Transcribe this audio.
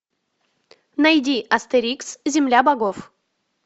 найди астерикс земля богов